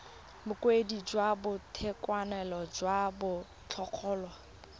bokaedi jwa boitekanelo jwa diphologolo